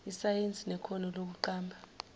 isayensi nekhono lokuqamba